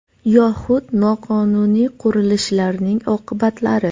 Yoxud noqonuniy qurilishlarning oqibatlari.